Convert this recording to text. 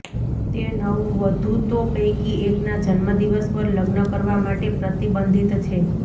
તે નવવધૂતો પૈકી એકના જન્મદિવસ પર લગ્ન કરવા માટે પ્રતિબંધિત છે